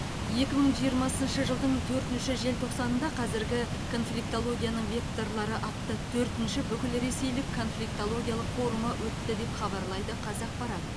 екі мың жиырмасыншы жылдың төртінші желтоқсанында қазіргі конфликтологияның векторлары атты төртінші бүкілресейлік конфликтологиялық форумы өтті деп хабарлайды қазақпарат